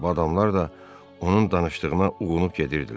Bu adamlar da onun danışdığına uğunub gedirdilər.